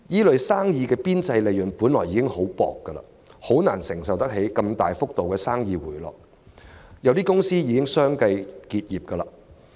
這些行業的邊際利潤本已微薄，難以承受生意如此大幅地回落，有些公司已相繼結業。